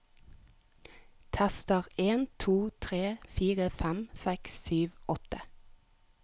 Tester en to tre fire fem seks sju åtte